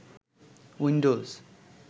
Windows